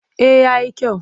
Eh ya yi kyau.